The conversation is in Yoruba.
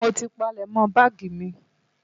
Mo ti palẹ̀mọ́ báàgì mi.